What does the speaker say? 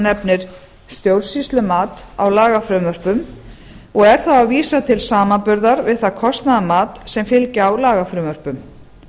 nefnir stjórnsýslumat á lagafrumvörpum og er þá að vísa til samanburðar við það kostnaðarmat sem fylgja á lagafrumvörpum